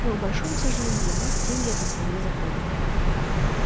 но к большому сожалению для вас деньги эти вполне законные